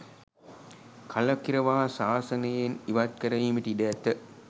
කලකිරවා සාසනයෙන් ඉවත් කරවීමට ඉඩ ඇත.